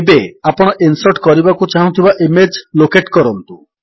ଏବେ ଆପଣ ଇନ୍ସର୍ଟ କରିବାକୁ ଚାହୁଁଥିବା ଇମେଜ୍ ଲୋକେଟ୍ କରନ୍ତୁ